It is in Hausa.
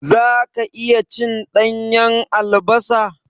Zaka iya cin ɗanyan albasa?